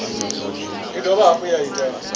i dovha hafhu ya ita